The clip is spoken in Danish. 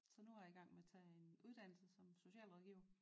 Så nu er jeg i gang med at tage en uddannelse som socialrådgiver